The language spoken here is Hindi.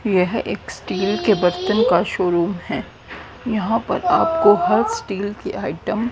यह एक स्टील के बर्तन का शोरूम है यहां पर आपको हर स्टील के आइटम --